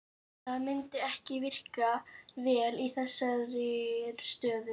Það myndi ekki virka vel í þessari stöðu.